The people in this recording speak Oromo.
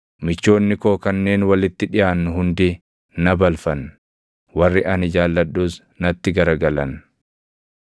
Michoonni koo kanneen walitti dhiʼaannu hundi na balfan; warri ani jaalladhus natti garagalan.